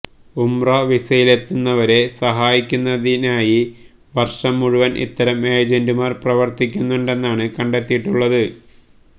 ഉംറ വിസയിലെത്തുന്നവരെ സഹായിക്കുന്നതിനായി വർഷം മുഴുവൻ ഇത്തരം ഏജന്റുമാർ പ്രവർത്തിക്കുന്നുണ്ടെന്നാണ് കണ്ടെത്തിയിട്ടുള്ളത്